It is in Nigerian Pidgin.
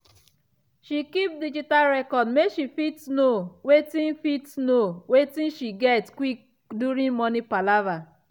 she keep digital record make she fit know wetin fit know wetin she get quick during money palava.